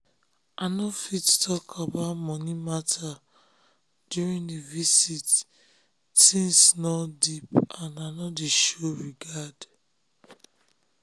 i nor fit talk about moni matter during d visit tins nor deep and i dey show regard